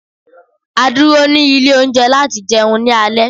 A dúró ni ilé oúnje láti jeun ni alé